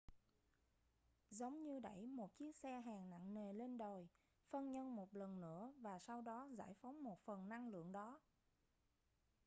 giống như đẩy một chiếc xe hàng nặng nề lên đồi phân nhân một lần nữa và sau đó giải phóng một phần năng lượng đó